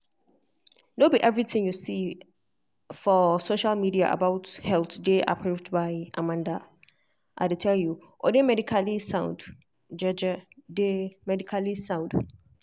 no be everything you see for social media about health dey approved by amanda i dey tell you or dey medically sound. dey medically sound.